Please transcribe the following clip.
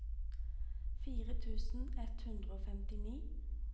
fire tusen ett hundre og femtini